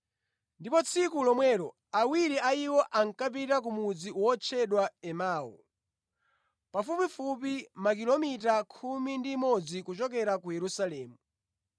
Ndipo tsiku lomwelo, awiri a iwo ankapita ku mudzi wotchedwa Emau, pafupifupi makilomita khumi ndi imodzi kuchokera ku Yerusalemu.